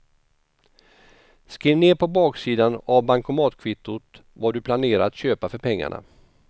Skriv ner på baksidan av bankomatkvittot vad du planerar att köpa för pengarna.